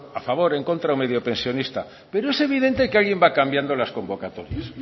a favor en contra o mediopensionista pero es evidente que alguien va cambiando las convocatorias